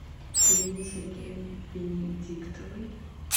елене сергеевне венедиктовой